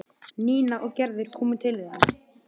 Nína og Gerður komu til þeirra.